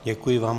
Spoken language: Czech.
Děkuji vám.